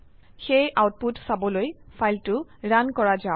সেয়ে আউটপুট চাবলৈ ফাইলটো ৰান কৰো যাওক